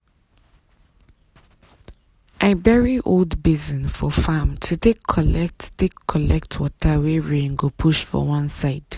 i bury old basin for farm to take collect take collect water wey rain push go one side.